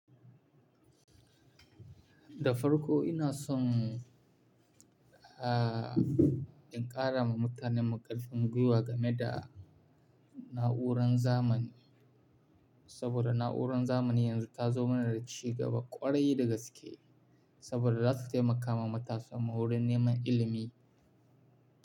Da farko ina son, ah, in ƙara ma mutanen mu ƙarfin gwiwa game da na'urar zamani. Saboda na'urar zamani yanzu ta zo mana da cigaba ƙwarai dagaske, saboda za su taimaka ma matasa wurin neman ilimi.